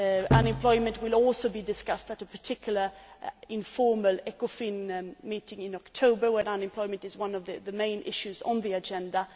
Unemployment will also be discussed at a particular informal Ecofin meeting in October, where unemployment is one of the main issues on the agenda